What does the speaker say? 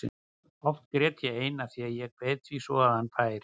Oft grét ég ein af því að ég kveið því svo að hann færi.